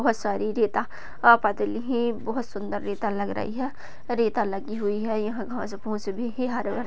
बहुत सारी रेता है बोहत सुंदर रेता लग रही है रेता लगी हुई है घास फूस भी है।